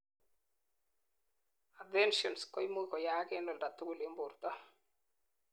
adhesions koimuch koyaak en oldatugul en borto